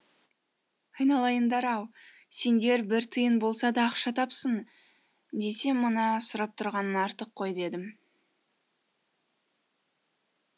айналайындар ау сендер бір тиын болса да ақша тапсын десем мына сұрап тұрғаның артық қой дедім